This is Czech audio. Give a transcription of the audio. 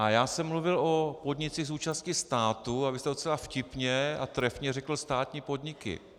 A já jsem mluvil o podnicích s účastí státu a vy jste docela vtipně a trefně řekl státní podniky.